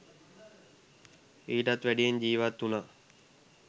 ඊට වැඩියෙන් ජිවත් උනා.